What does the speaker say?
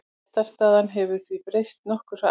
Réttarstaðan hefur því breyst nokkuð hratt.